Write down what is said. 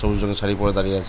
সবুজ রং এর শাড়ি পরে দাঁড়িয়ে আছে।